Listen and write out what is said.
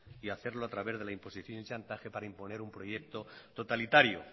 y hacerlo a través de la imposición y chantaje para imponer un proyecto totalitario